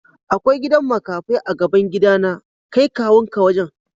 Akwai gidan makafai a'gaban gida na. Kai kawu'n ka wajen.